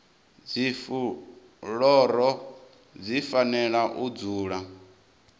dzifuloro dzi fanela u dzula